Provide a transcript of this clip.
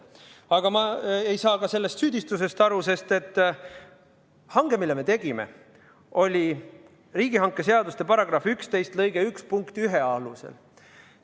Aga ma ei saa sellest süüdistusest aru, sest et hange, mille me tegime, oli riigihangete seaduse § 11 lõike 1 punkti 1 alusel.